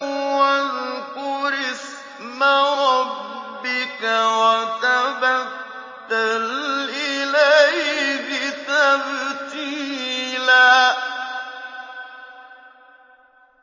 وَاذْكُرِ اسْمَ رَبِّكَ وَتَبَتَّلْ إِلَيْهِ تَبْتِيلًا